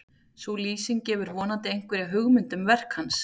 sú lýsing gefur vonandi einhverja hugmynd um verk hans